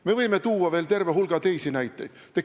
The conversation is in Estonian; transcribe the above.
Me võime tuua veel terve hulga näiteid.